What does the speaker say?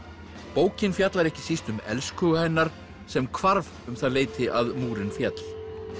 bókin fjallar ekki síst um elskhuga hennar sem hvarf um það leyti að múrinn féll